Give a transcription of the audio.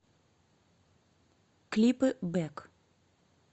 клипы бэк